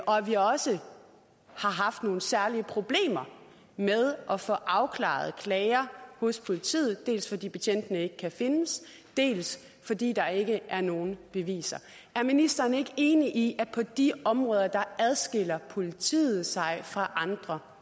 og vi har også haft nogle særlige problemer med at få afklaret klager hos politiet dels fordi betjentene ikke kan findes dels fordi der ikke er nogen beviser er ministeren ikke enig i at på de områder adskiller politiet sig fra andre